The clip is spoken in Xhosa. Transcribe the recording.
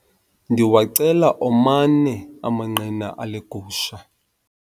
Ndiwacela omane amanqina ale gusha.